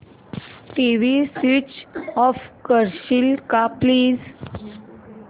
TV switch off करशील का please